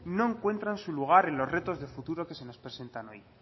no encuentran su lugar en los retos de futuro que les presentan hoy